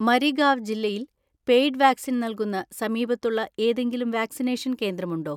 മരിഗാവ് ജില്ലയിൽ paid vaccine നൽകുന്ന സമീപത്തുള്ള ഏതെങ്കിലും വാക്‌സിനേഷൻ കേന്ദ്രമുണ്ടോ?